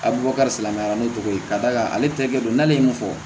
A bɛ bɔ kari silamɛya ni tɔgɔ ye ka d'a kan ale tɛrikɛ don n'ale ye mun fɔ